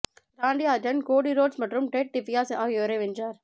ராண்டி Orton Cody Rhodes மற்றும் Ted DiBiase ஆகியோரை வென்றார்